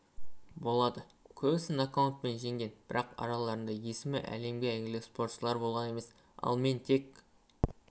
болады көбісін нокаутпен жеңген бірақ араларында есімі әлемге әйгілі спортшылар болған емес ал мен тек